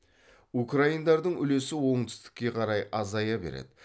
украиндардың үлесі оңтүстікке қарай азая береді